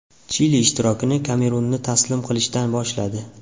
Chili ishtirokini Kamerunni taslim qilishdan boshladi.